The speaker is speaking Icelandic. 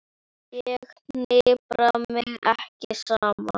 Ég hnipra mig ekki saman.